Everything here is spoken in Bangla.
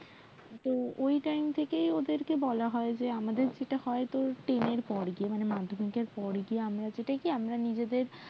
তো ওই time থেকেই ওদেরকে বলা হয় যে আমাদের যেটা হয় তোর ten এর পর দিয়ে মানে মাধ্যমিক এর পর দিয়ে আমরা আমরা যেটা কি নিজেদের